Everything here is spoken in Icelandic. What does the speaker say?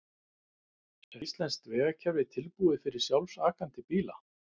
En er íslenskt vegakerfi tilbúið fyrir sjálfakandi bíla?